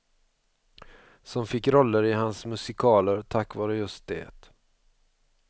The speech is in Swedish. Som fick roller i hans musikaler tack vare just det.